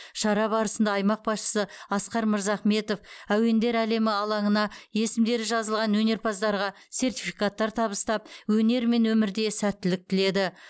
шара барысында аймақ басшысы асқар мырзахметов әуендер әлемі алаңына есімдері жазылған өнерпаздарға сертификаттар табыстап өнер мен өмірде сәттілік тіледі